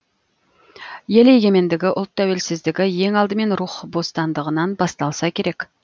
ел егемендігі ұлт тәуелсіздігі ең алдымен рух бостандығынан басталса керек